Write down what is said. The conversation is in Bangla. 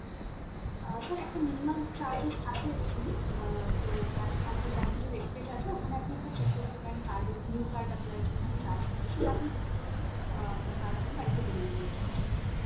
অ্যাঁ sir একটা minimum charges থাকে actually অ্যাঁ তো bank আমাদের bank এর যে webpage আছে ওখানে আপনি একবার check করতে পারেন card এর, new card apply এর জন্য যে charge কাটে সেটা আপনি করে দিলে অ্যাঁ আপনার card আপনার বাড়িতে delivery হয়ে যাবে sir okay ।